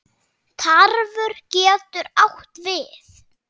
Tarfur getur átt við